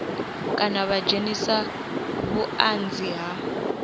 kana vha dzhenise vhuanzi ha